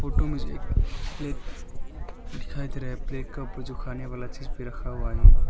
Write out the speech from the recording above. Photo में से एक प्ले दिखाई दे रहा हैं प्लेट कप जो खाने वाला चीज पर रखा हुआ है।